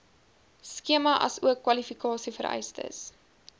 skema asook kwalifikasievereistes